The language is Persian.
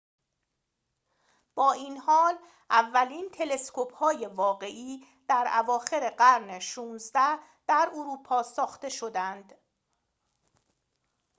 با این حال اولین تلسکوپ های واقعی در اواخر قرن ۱۶ در اروپا ساخته شدند